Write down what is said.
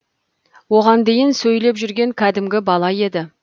оған дейін сөйлеп жүрген кәдімгі бала еді